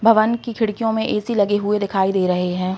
भवन की खिड़कियों में ए सी लगे हुए दिखाई दे रहे है।